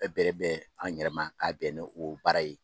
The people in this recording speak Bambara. Bɛ bɛrɛ bɛn an yɛrɛma k'a bɛn o baara ye